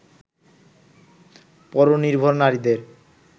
পরনির্ভর নারীদের